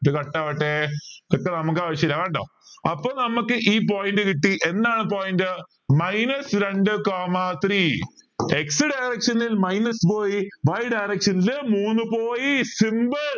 ഇത് cut ആവട്ടെ ഇതൊക്കെ നമുക്ക് ആവശ്യമില്ല കേട്ടോ അപ്പൊ നമുക്ക് ഈ point കിട്ടി എന്താണ് point minus രണ്ട് coma three x direction ൽ minus പോയി y direction ൽ മൂന്ന് പോയി simple